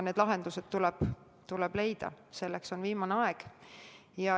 Need lahendused tuleb leida, selleks on viimane aeg.